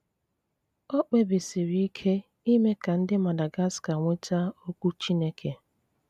Ọ̀ kpèbìsìrí ìkè ime ka ndị Madagascar nwètà Okwu Chínèké.